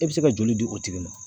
E bɛ se ka joli di o tigi ma.